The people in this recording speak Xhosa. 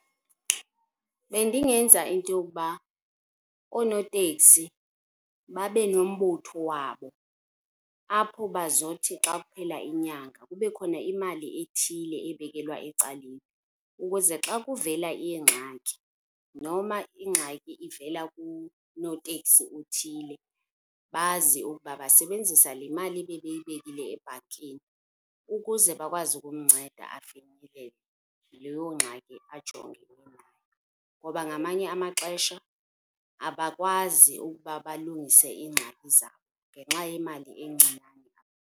Bendingenza into yokuba oonotekisi babenombutho wabo apho bazothi xa kuphela inyanga kube khona imali ethile ebekelwa ecaleni ukuze xa kuvela ingxaki noma ingxaki ivela kunotekisi othile, bazi okuba basebenzisa le mali bebeyibekille ebhankini ukuze bakwazi ukumnceda afinyelele leyoo ngxaki ajongene nayo. Ngoba ngamanye amaxesha abakwazi ukuba balungise iingxaki zabo ngenxa yemali encinane.